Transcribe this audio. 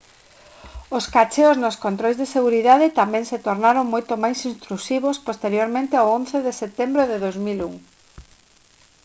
os cacheos nos controis de seguridade tamén se tornaron moito máis intrusivos posteriormente ao 11 de setembro de 2001